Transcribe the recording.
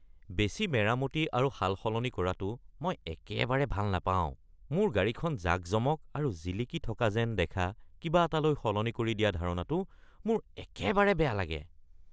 বেছি মেৰামতি আৰু সাল-সলনি কৰাটো মই একেবাৰে ভাল নাপাওঁ। মোৰ গাড়ীখন জাকজমক আৰু জিলিকি থকা যেন দেখা কিবা এটালৈ সলনি কৰি দিয়া ধাৰণাটো মোৰ একেবাৰে বেয়া লাগে।